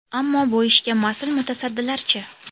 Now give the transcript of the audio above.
Ammo bu ishga mas’ul mutasaddilar-chi?